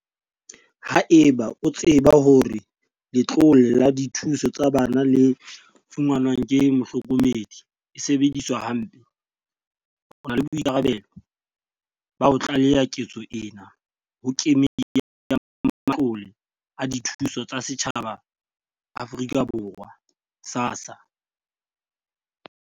Haeba o tseba hore letlole la dithuso tsa bana le fumanwang ke mohlokomedi e sebediswa hampe, o na le boikarabelo ba ho tlaleha ketso ena ho Kemedi ya Matlole a Dithuso tsa Setjhaba a Afrika Borwa, SASSA.